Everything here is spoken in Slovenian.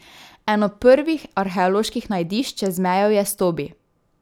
Eno prvih arheoloških najdišč čez mejo je Stobi.